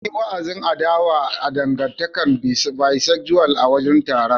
An yi wa'azin adawa da dangantakar Bisexual a wurin taron.